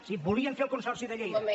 sí volien fer el consorci de lleida